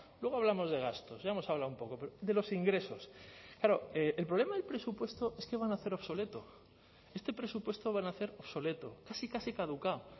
luego hablamos de gastos ya hemos hablado un poco pero de los ingresos claro el problema del presupuesto es que va a nacer obsoleto este presupuesto va a nacer obsoleto casi casi caducado